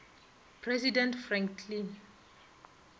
president franklin